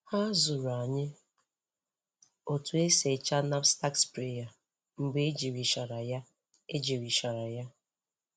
Ha zụrụ anyị otu esi echa knapsack sprayer mgbe ejirichara ya. ejirichara ya.